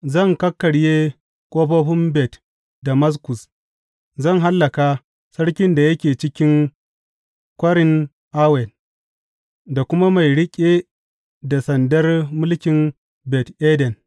Zan kakkarye ƙofofin Bet Damaskus; zan hallaka sarkin da yake cikin Kwarin Awen da kuma mai riƙe da sandar mulkin Bet Eden.